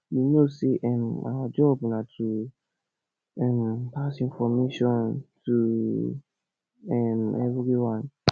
you no know say um our job na to um pass information to um everyone